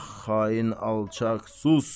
Ax xain alçaq, sus!